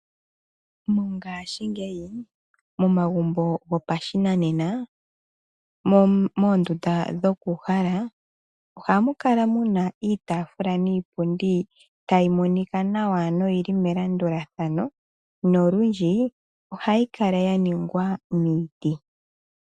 Mongaashingeyi momagumbo gopashinanena, moondundaa dhokuuhala ohamukala muna iitaafula niipundi tayi monika nawa noyili melandulathano nolundji ohayikala yaningwa miiti.